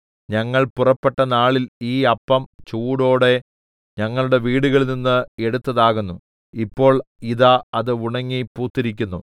ഞങ്ങൾ പുറപ്പെട്ട നാളിൽ ഈ അപ്പം ചൂടോടെ ഞങ്ങളുടെ വീടുകളിൽനിന്ന് എടുത്തതാകുന്നു ഇപ്പോൾ ഇതാ അത് ഉണങ്ങി പൂത്തിരിക്കുന്നു